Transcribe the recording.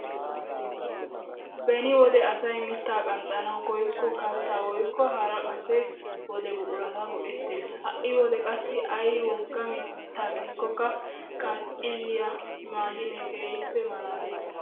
Beni wode asay mittaa qanxxanawu koyikko kalttaa woykko hara kase wode buqurata go"ettees! ha'i wode qassi ay woggaa giido mittaaka qnxxi liyaa mashinee keehippe malalees!